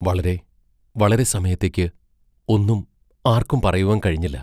വളരെ വളരെ സമയത്തേക്ക് ഒന്നും ആർക്കും പറയുവാൻ കഴിഞ്ഞില്ല.